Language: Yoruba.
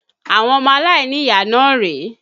Àwọn ọmọ aláìníyàá náà rèé